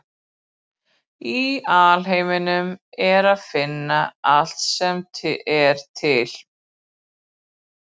Í alheiminum er að finna allt sem er til.